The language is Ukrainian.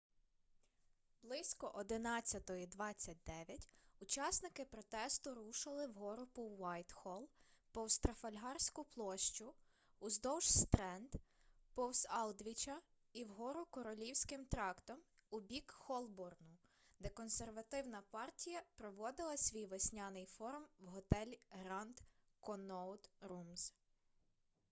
близько 11:29 учасники протесту рушили вгору по уайтхолл повз трафальгарську площу уздовж стренд повз алдвіча і вгору королівським трактом у бік холборну де консервативна партія проводила свій весняний форум в готелі гранд конноут румз